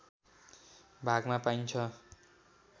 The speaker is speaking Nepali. भागमा पाइन्छ